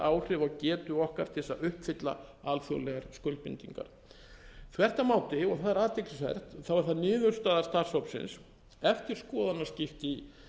áhrif á getu okkar til þess að uppfylla alþjóðlegar skuldbindingar þvert á móti og það er athyglisvert er það niðurstaða starfshópsins eftir skoðanaskipti í